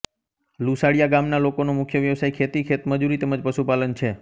લુસાડીયા ગામના લોકોનો મુખ્ય વ્યવસાય ખેતી ખેતમજૂરી તેમ જ પશુપાલન છે